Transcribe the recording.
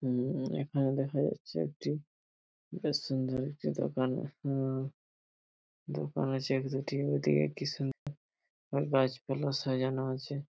উম-ম এখানে দেখা যাচ্ছে একটি বেশ সুন্দর একটি দোকান আ দোকান আছে এক দুটি ওদিকে কি সুন আর গাছপালা সাজানো আছে।